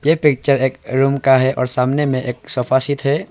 ये पिक्चर एक रूम का है और सामने में एक सोफा सेट है।